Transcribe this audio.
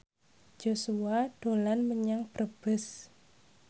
Joshua dolan menyang Brebes